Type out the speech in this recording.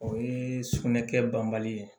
O ye sugunɛ kɛ banbali ye